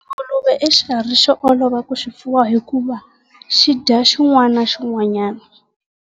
Nguluve i xikarhi xo olova ku xi fuwa hikuva xi dya xin'wana na xin'wanyana.